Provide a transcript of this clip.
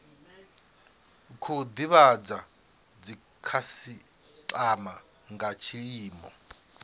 khou divhadza dzikhasitama nga tshiimo